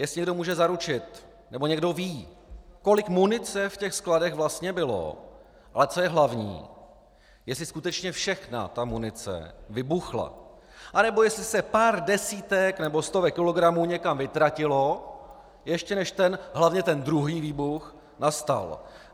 Jestli někdo může zaručit, nebo někdo ví, kolik munice v těch skladech vlastně bylo, a co je hlavní, jestli skutečně všechna ta munice vybuchla, anebo jestli se pár desítek nebo stovek kilogramů někam vytratilo, ještě než ten - hlavně ten druhý výbuch nastal.